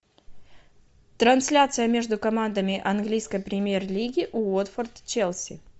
трансляция между командами английской премьер лиги уотфорд челси